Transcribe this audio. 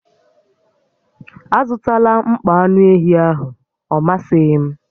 Azụtala mkpọ anụ ehi ahụ, ọ masịghị m!